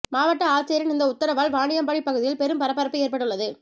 மாவட்ட ஆட்சியரின் இந்த உத்தரவால் வாணியம்பாடி பகுதியில் பெரும் பரபரப்பு ஏற்பட்டுள்ளது